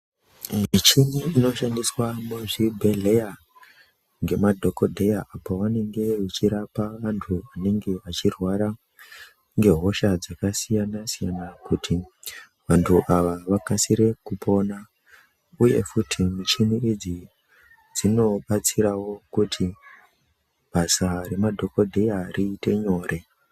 Michini inoshandiswa muzvibhedhleya ngemadhokodheya pavanenge vechirapa antu anenge eirwara ngehosha dzakasiyana siyana kuti vantu ava vakasire kupona uye futi muchini idzi dzinobatsirawo kuti basa remadhokodheya riite nyore.